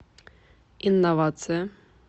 инновация